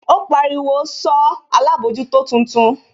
Ó pariwo, sọ alábòójútó tuntun?